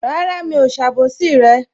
Rárá, mi ò ṣe àbòsí rẹ